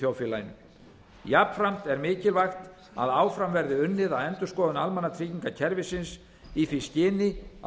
þjóðfélaginu jafnframt er mikilvægt að áfram verði unnið að endurskoðun almannatryggingakerfisins í því skyni að